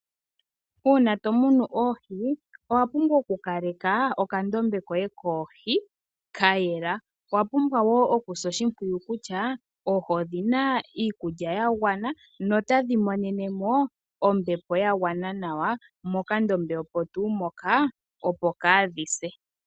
Uuna to munu oohi owa pumbwa oku kaleka okandombe koye koohi ka yela. Owa pumbwa woo oku sa oshimpwiyu kutya oohi odhina iikulya ya gwana no tadhi monene mo ombepo ya gwana nawa mo kandombe omo tuu moka opo kaa dhise.